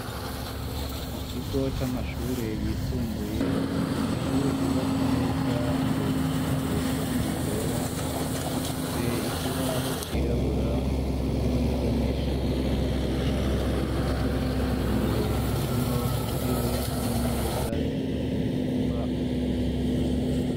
Mu kigo c'amashure, yisumbuye, ni ishure ryubatse neza, imbere risize irangi ryera, rifise ikibaho cirabura, mwarimu n'abanyeshure, bakoresha mu kwiga; imbere harimwo, intebe n'imeza, zikozwe mu mbaho z'ibiti.